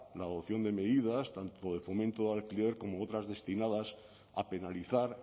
la adopción de medidas tanto de fomento del alquiler como otras destinadas a penalizar